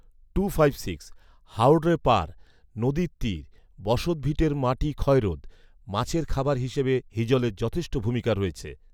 হাওররে পাড়, নদীর তীর, বসতভিটের মাটি ক্ষয়রোধ, মাছের খাবার হিসেবে হিজলের যথষ্টে ভূমিকা রয়ছে